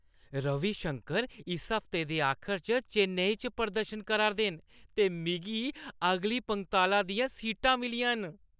रवि शंकर इस हफ्ते दे आखर च चेन्नई च प्रदर्शन करा 'रदे न ते मिगी अगली पंगताला दियां सीटां मिलियां न!